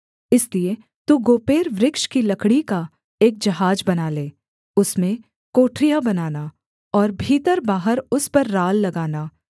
इसलिए तू गोपेर वृक्ष की लकड़ी का एक जहाज बना ले उसमें कोठरियाँ बनाना और भीतरबाहर उस पर राल लगाना